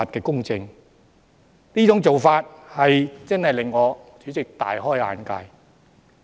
代理主席，這種做法真的令我大開眼界。